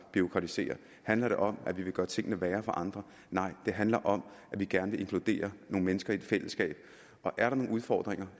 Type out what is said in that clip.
bureaukratisere handler det om at vi vil gøre tingene værre for andre nej det handler om at vi gerne vil inkludere nogle mennesker i et fællesskab og er der nogle udfordringer